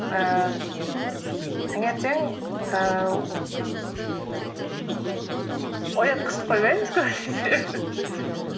ііі таңертең ііі оятқышты қоймаймыз көбінесе